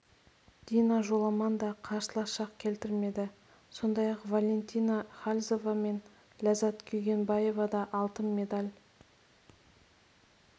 дина жоламан да қарсылас шақ келтірмеді сондай-ақ валентина хальзова мен ләззат күнгейбаева да алтын медаль